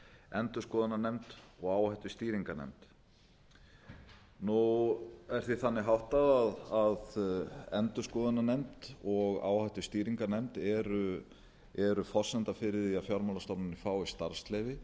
endurskoðunarnefnd og áhættustýringarnefnd nú er því þannig háttað að endurskoðunarnefnd og áhættustýringarnefnd eru forsenda fyrir því að fjármálastofnunin fái starfsleyfi